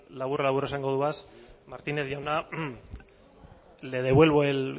labur labur esango dodaz martínez jauna le devuelvo el